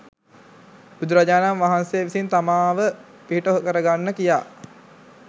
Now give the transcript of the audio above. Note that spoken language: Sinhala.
බුදුරජාණන් වහන්සේ විසින් තමාව පිහිට කරගන්න කියා